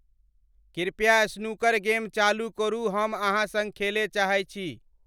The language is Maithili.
कृपया स्नूकर गेम चालू करू हम अहाँ सँग खेलय चाहे छि